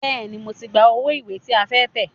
Bẹ́ẹ̀ni, mo ti gba owó ìwé tí a fẹ́ tẹ̀.